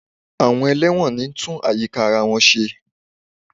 Àwọn ẹlẹ́wọ̀n ni ń tún àyíká ara wọn ṣe